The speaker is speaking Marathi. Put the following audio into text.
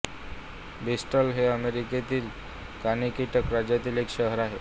ब्रिस्टल हे अमेरिकेतील कनेटिकट राज्यातील एक शहर आहे